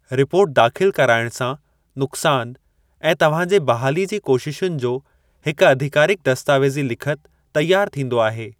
Report दाख़िलु करायणु सां नुक़सानु ऐं तव्हांजे बहाली जी कोशिशुनि जो हिकु अधिकारिकु दस्तावेज़ी लिखति तैयार थींदो आहे।